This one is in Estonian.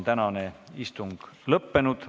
Tänane istung on lõppenud.